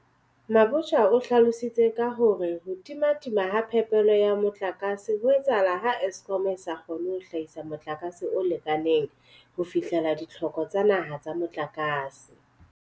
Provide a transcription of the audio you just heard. Mabotja o hlalositse ka hore ho timatima ha phepelo ya motlakase ho etsahala ha Eskom e sa kgone ho hlahisa motlakase o lekaneng ho fihlella ditlhoko tsa naha tsa motlakase.